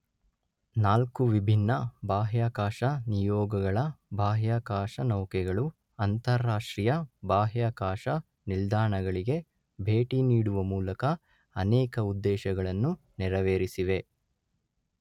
ನಾಲ್ಕು ವಿಭಿನ್ನ ಬಾಹ್ಯಾಕಾಶ ನಿಯೋಗಗಳ ಬಾಹ್ಯಾಕಾಶನೌಕೆಗಳು ಅಂತರರಾಷ್ಟ್ರೀಯ ಬಾಹ್ಯಾಕಾಶ ನಿಲ್ದಾಣಗಳಿಗೆ ಭೇಟಿನೀಡುವ ಮೂಲಕ ಅನೇಕ ಉದ್ದೇಶಗಳನ್ನು ನೆರವೇರಿಸಿವೆ.